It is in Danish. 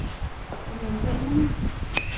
amerikanerne